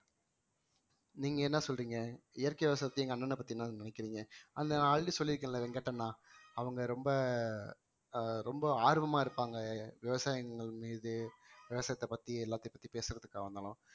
நீங்க என்ன சொல்றீங்க இயற்கை விவசாயத்தையும் எங்க அண்ணனை பத்தி என்ன நினைக்கிறீங்க அந்த already சொல்லிருக்கேன்ல வெங்கட் அண்ணா அவங்க ரொம்ப ஆஹ் ரொம்ப ஆர்வமா இருப்பாங்க விவசாயிகள் மீது விவசாயத்தை பத்தி எல்லாத்தையும் பத்தி பேசுறதுக்காக வந்தாலும்